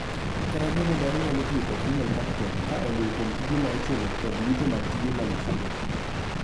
Kata bedni dhano nyalo tiyo kod Human capital ka oluwo kuom tije ma ichulo kod yuto mag tije mag chiro.